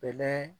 Bɛnɛ